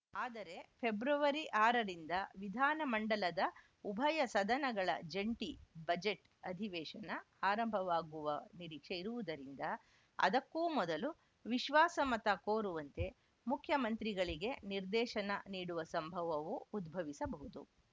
ಆದರೆ ಫೆಬ್ರವರಿ ಆರರಿಂದ ವಿಧಾನಮಂಡಲದ ಉಭಯ ಸದನಗಳ ಜಂಟಿ ಬಜೆಟ್‌ ಅಧಿವೇಶನ ಆರಂಭವಾಗುವ ನಿರೀಕ್ಷೆ ಇರುವುದರಿಂದ ಅದಕ್ಕೂ ಮೊದಲು ವಿಶ್ವಾಸಮತ ಕೋರುವಂತೆ ಮುಖ್ಯಮಂತ್ರಿಗಳಿಗೆ ನಿರ್ದೇಶನ ನೀಡುವ ಸಂಭವವೂ ಉದ್ಭವಿಸಬಹುದು